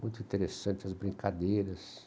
Muito interessante as brincadeiras.